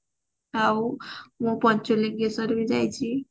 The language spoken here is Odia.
ଆଉ ମୁଁ ପଞ୍ଚଳିଙ୍ଗେଶ୍ଵର ବି ଯାଇଛି